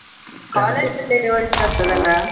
ಅಲ್ಲೇ ಒಳ್ಳೇದಾಗ್ತದಲ್ಲ?